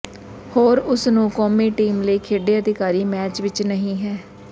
ਹੋਰ ਉਸ ਨੂੰ ਕੌਮੀ ਟੀਮ ਲਈ ਖੇਡੇ ਅਧਿਕਾਰੀ ਮੈਚ ਵਿਚ ਨਹੀ ਹੈ